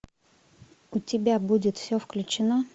у тебя будет все включено